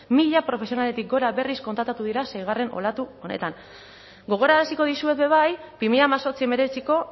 mila profesionaletik gora berriz kontratatu dira seigarren olatu honetan gogoraraziko dizuet ere bai bi mila hemezortzi hemeretziko